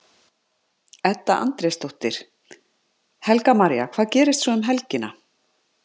Edda Andrésdóttir: Helga María, hvað gerist svo um helgina?